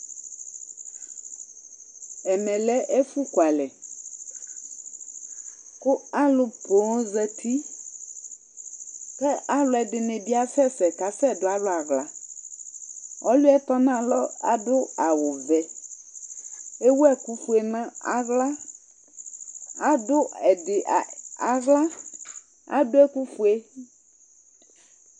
Ɛmɛ ɛfʋkualɛ kʋ alʋ poo zati kʋ alʋɛdɩnɩ bɩ afɛ ɛfɛ kʋ asɛdʋ alʋ aɣla Ɔlʋ yɛ tɔnalɔ adʋ awʋvɛ Ewu ɛkʋfue nʋ aɣla, adʋ ɛdɩ a aɣla, adʋ ɛkʋfue